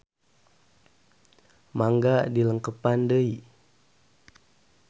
Mangga dilengkepan deui.